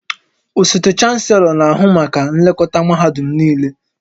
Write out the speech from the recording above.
Osote Chanselọ na-ahụ maka nlekọta mahadum niile